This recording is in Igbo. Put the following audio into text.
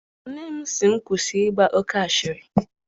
Nne m sị m kwụsị ịgba oke asịrị.